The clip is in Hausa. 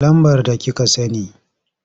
Lambar da kika sani.